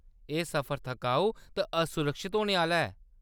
एह्‌‌ सफर थकाऊ ते असुरक्षत होने आह्‌‌‌ला ऐ।